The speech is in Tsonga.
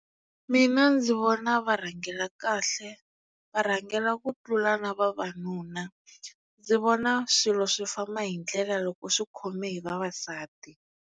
Mina ndzi vona va rhangela kahle va rhangela ku tlula na vavanuna ndzi vona swilo swi famba hi ndlela loko swi khome hi vavasati.